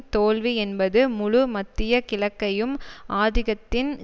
தோல்வி என்பது முழு மத்திய கிழக்கையும் ஆதிக்கத்தின்